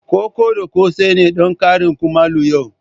Koko da kose ne don karin kumallo yau.